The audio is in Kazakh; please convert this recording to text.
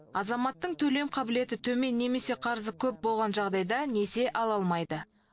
азаматтың төлем қабілеті төмен немесе қарызы көп болған жағдайда несие ала алмайды